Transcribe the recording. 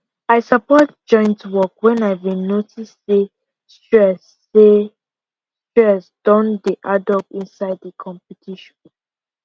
i support joint work when i been notice say stress say stress don dey addup inside the competition